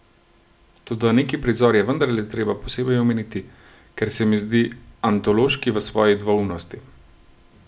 Toda neki prizor je vendarle treba posebej omeniti, ker se mi zdi antološki v svoji dvoumnosti.